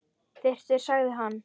Þyrftir sagði hann.